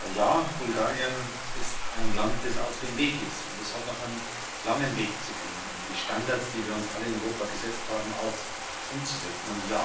Ja, Bulgarien ist ein Land, das auf dem Weg ist, und es hat noch einen langen Weg zu gehen, um die Standards, die wir uns alle in Europa gesetzt haben, auch umzusetzen.